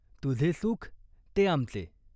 तुझे सुख ते आमचे.